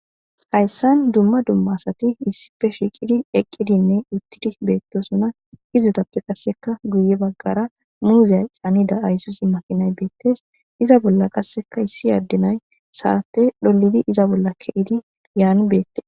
hayssan dumma dumma asati issife shiiqidi eqqidinne uttidi beettosona izetappe qasseka guye baggara muuzeya qaanida aysusi makinay beettes iza bolla qasseka issi addenay saate dholidi iza bolla ke'idi yaan beettees